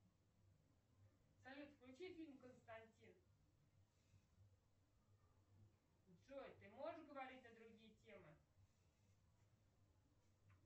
салют включи фильм константин джой ты можешь говорить на другие темы